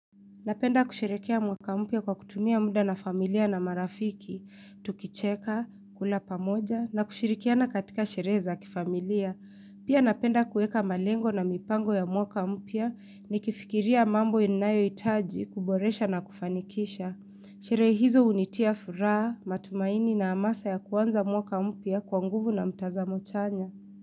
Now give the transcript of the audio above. Napenda kushirikia mwaka mpia kwa kutumia muda na familia na marafiki, tukicheka, kula pamoja na kushirikiana katika shire za kifamilia. Pia napenda kueka malengo na mipango ya mwaka mpia ni kifikiria mambo inayo itaji kuboresha na kufanikisha. Sherehe hizo unitia furaa, matumaini na amasa ya kuanza mwaka mpia kwanguvu na mtazamo chanya.